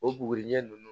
O buguriɲɛ nunnu